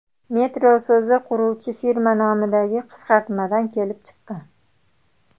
Metro so‘zi quruvchi firma nomidagi qisqartmadan kelib chiqqan.